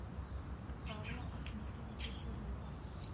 павла ахметовича серова